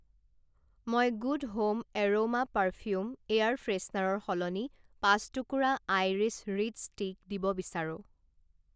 মই good home aroma perfume air ফ্ৰেছনাৰৰ সলনি পাঁচ টুকুৰা আইৰিছ ৰিড ষ্টিক দিব বিচাৰো।